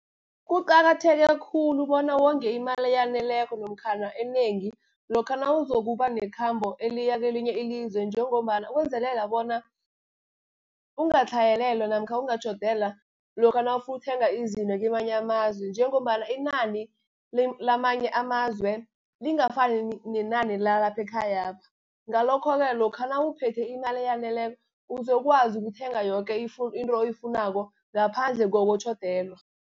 Kuqakatheke khulu bona wonge imali eyaneleko namkhana enengi, lokha nawuzokuba nekhambo eliya kelinye ilizwe, njengombana ukwenzelela bona ungatlhayelelwa, namkha ungatjhodelwa lokha nawufuna ukuthenga izinto kamanye amazwe, njengombana inani lamanye amazwe lingafani nenani lalaphe ekhayapha. Ngalokho-ke lokha nawuphethe imali eyaneleko, uzokwazi ukuthenga yoke into oyifunako ngaphandle kokutjhodelwa.